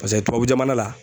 Paseke tubabu jamana la